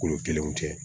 Kolo kelenw tɛ